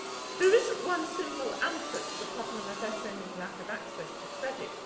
There is no one simple answer to the problem of SMEs' lack of access to credit.